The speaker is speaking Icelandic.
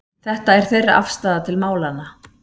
Þetta er þeirra afstaða til málanna